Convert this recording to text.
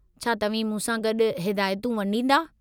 छा तव्हीं मूंसां गॾु हिदायतूं वंॾींदा?